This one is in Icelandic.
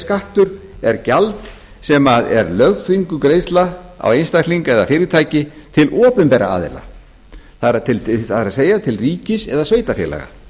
skattur sé gjald sem er lögþvinguð greiðsla á einstakling eða fyrirtæki til opinberra aðila það er til ríkis eða sveitarfélaga